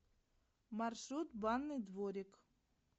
маршрут банный дворик